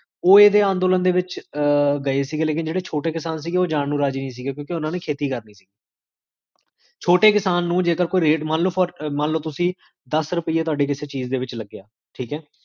ਹ੍ਕ੍ਖ